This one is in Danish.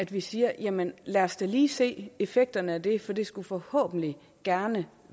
vi siger jamen lad os da lige se effekterne af det for det skulle forhåbentlig gerne